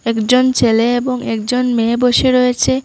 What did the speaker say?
একজন ছেলে এবং একজন মেয়ে বসে রয়েছে।